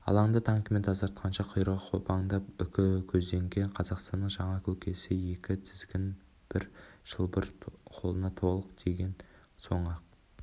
алаңды танкімен тазартқанша құйрығы қопаңдап үкі көзденген қазақстанның жаңа көкесі екі тізгін бір шылбыр қолына толық тиген соң-ақ